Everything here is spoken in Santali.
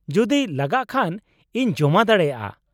ᱡᱩᱫᱤ ᱞᱟᱜᱟᱜ ᱠᱷᱟᱱ, ᱤᱧ ᱡᱚᱢᱟ ᱫᱟᱲᱮᱭᱟᱜᱼᱟ ᱾